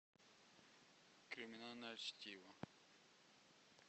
криминальное чтиво